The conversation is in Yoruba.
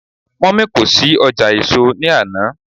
mummy kò sí ọjà èso ni Ana.